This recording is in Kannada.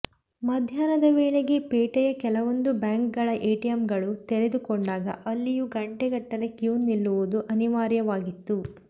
ಮಧ್ಯಾಹ್ನದ ವೇಳೆಗೆ ಪೇಟೆಯ ಕೆಲವೊಂದು ಬ್ಯಾಂಕ್ಗಳ ಎಟಿಎಂಗಳು ತೆರೆದುಕೊಂಡಾಗ ಅಲ್ಲಿಯೂ ಗಂಟೆಗಟ್ಟಲೆ ಕ್ಯೂ ನಿಲ್ಲುವುದು ಅನಿವಾರ್ಯವಾಗಿತ್ತು